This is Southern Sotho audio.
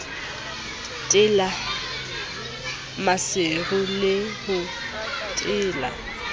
tela maseru ke ho tela